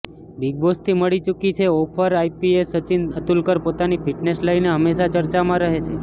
બિગબોસથી મળી ચૂકી છે ઓફરઆઈપીએસ સચિન અતુલકર પોતાની ફિટનેસને લઈને હંમેશા ચર્ચામાં રહે છે